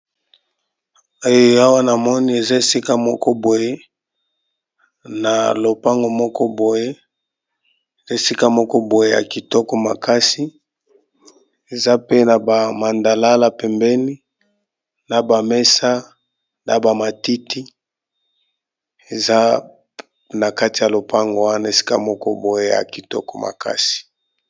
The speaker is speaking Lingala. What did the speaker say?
Eh Awa na moni eza esika moko boye na lopango moko boye, esika moko boye ya kitoko makasi eza pe na ba mandalala pembeni na ba mesa na ba matiti eza na kati ya lopango wana esika moko boye ya kitoko makasi.